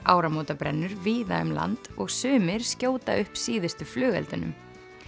áramótabrennur víða um land og sumir skjóta upp síðustu flugeldunum